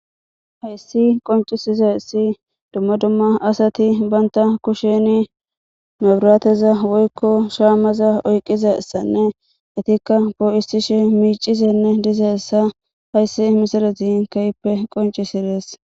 Hayis qoncizayis dumma dumma asati banta kusheni maburateza woyikko shamaza oyiqizaysanne etikka poisishe micishe dizayisa hayis misilezi kehippe qoncisides.